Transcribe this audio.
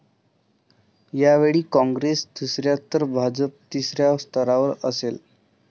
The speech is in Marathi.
यावेळी काँग्रेस दुसऱ्या तर भाजप तिसऱ्या स्थानावर असेल.